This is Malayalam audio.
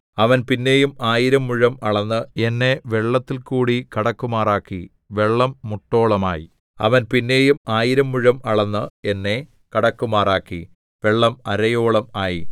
അവൻ പിന്നെയും ആയിരം മുഴം അളന്ന് എന്നെ വെള്ളത്തിൽകൂടി കടക്കുമാറാക്കി വെള്ളം മുട്ടോളം ആയി അവൻ പിന്നെയും ആയിരം മുഴം അളന്ന് എന്നെ കടക്കുമാറാക്കി വെള്ളം അരയോളം ആയി